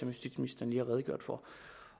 justitsministeren lige har redegjort for